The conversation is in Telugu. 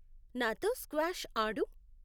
నాతో స్క్వాష్ ఆడు .